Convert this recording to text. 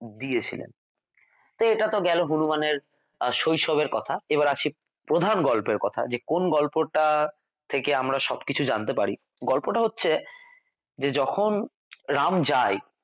দিয়েছিলেন এটা তো গেল হনূমান এর শৈশবের কথা এবার আসি প্রধান গল্পের কথায় যে কোন গল্পটা থেকে আমরা সবকিছু জানতে পারি গল্পটা হচ্ছে যে যখন রাম যায়